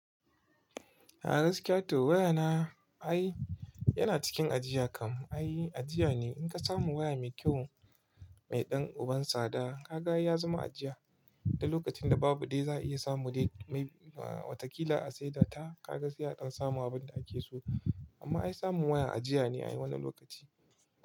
A gaskiya toh waya na ai yana cikin ajiya kam ai ajiya ne. In ka samu waya mai kyau mai ɗan uban sada kaga ai ya zama ajiya, da lokacin da babu dai za a iya samu dai mai watakila a saida ta. Ka ga sai dan samu abin da ake so amma ai samun waya ajiya ne a wannan lokaci.